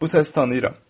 Bu səsi tanıyıram.